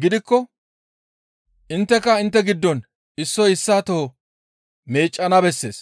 gidikko intteka intte giddon issoy issaa toho meeccana bessees.